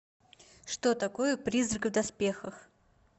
что такое призрак в доспехах